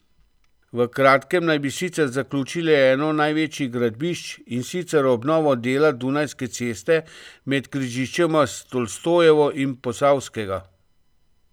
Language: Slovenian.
V kratkem naj bi sicer zaključili eno največjih gradbišč, in sicer obnovo dela Dunajske ceste med križiščema s Tolstojevo in Posavskega.